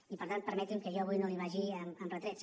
i per tant permeti’m que jo avui no li vagi amb retrets